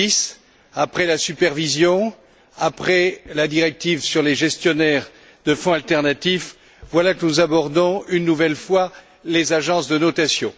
2010. Après la supervision, après la directive sur les gestionnaires de fonds alternatifs, voilà que nous abordons, une nouvelle fois, les agences de notation.